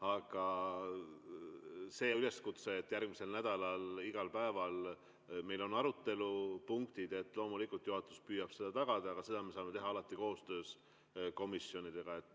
Aga üleskutse, et meil järgmisel nädalal oleks igal päeval arutelupunktid – loomulikult juhatus püüab seda tagada, ja seda me saame alati teha koostöös komisjonidega.